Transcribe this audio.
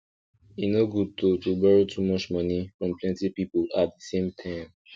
e no good to to borrow too much money from plenty people at the same time